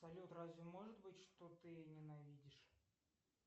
салют разве может быть что ты ненавидишь